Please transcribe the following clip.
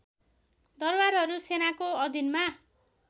दरबारहरू सेनाको अधिनमा